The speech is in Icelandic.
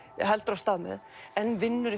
heldur af stað með en vinnur